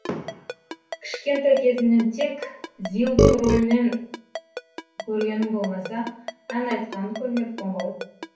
кішкентай кезімнен тек зилдың ролінен көргенім болмаса ән айтқанын көрмеппін ғой